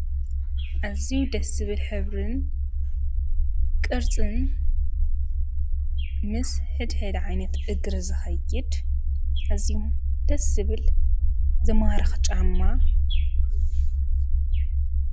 እዚዉ ደስ ስብል ኅብርን ቅርጽን ምስ ሕድ ሕድ ዓይነት እግሪ ዘኸይድ እዚሙ ደ ስብል ዘማረኽ ጫማ እዩ።